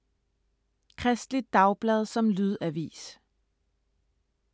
Kristeligt Dagblad som lydavis